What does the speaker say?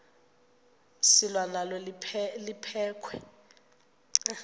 selwa nalo liphekhwe